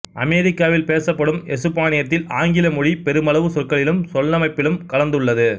அமெரிக்காவில் பேசப்படும் எசுப்பானியத்தில் ஆங்கில மொழி பெருமளவு சொற்களிலும் சொல்லமைப்பிலும் கலந்துள்ளது